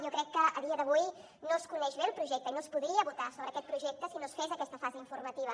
jo crec que a dia d’avui no es coneix bé el projecte i no es podria votar sobre aquest projecte si no es fes aquesta fase informativa